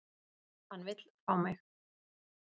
Hann vill fá mig.